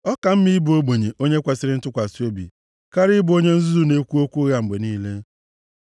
Ọ ka mma ịbụ ogbenye onye kwesiri ntụkwasị obi karịa ịbụ onye nzuzu na-ekwu okwu ụgha mgbe niile.